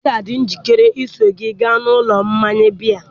Dele ga-adị njikere iso gị gaa n'ụlọ mmanya biya